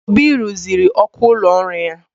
Obi ruziri ọkụ ụlọ ọrụ ya.